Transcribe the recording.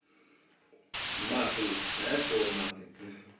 маты знаешь слово маты хи